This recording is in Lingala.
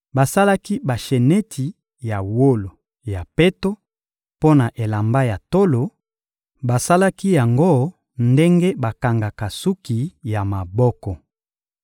Basalaki basheneti ya wolo ya peto mpo na elamba ya tolo; basalaki yango ndenge bakangaka suki ya maboko.